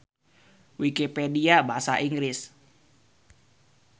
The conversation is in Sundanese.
Wikipedia Basa Inggris.